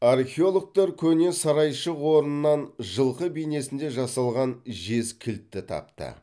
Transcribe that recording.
археологтар көне сарайшық орнынан жылқы бейнесінде жасалған жез кілтті тапты